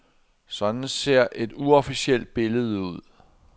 Sådan ser et uofficielt billede ud.